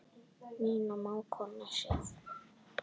Þín mágkona Sif.